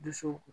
Dusukun